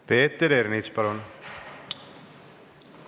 Peeter Ernits, palun!